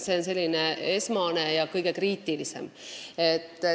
See oli selline esmane hinnang, mis on kõige kriitilisemad kogud.